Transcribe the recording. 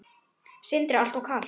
Sindri: Alltof kalt?